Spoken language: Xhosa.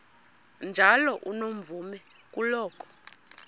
njalo unomvume kuloko